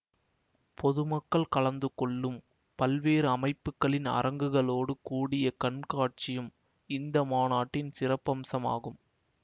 பொதுமக்கள் கலந்து கொள்ளும் பல்வேறு அமைப்புக்களின் அரங்குகளோடு கூடிய கண்காட்சியும் இந்த மாநாட்டின் சிறப்பம்சமாகும்